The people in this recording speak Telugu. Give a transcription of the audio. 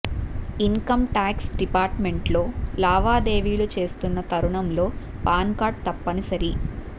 ఇన్ కమ్ టాక్స్ డిపార్ట్ మెంట్తో లావా దేవీలు చేస్తున్న తరుణంలో పాన్ కార్డు తప్పనిసరి